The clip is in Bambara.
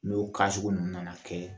N'o sugu ninnu nana kɛ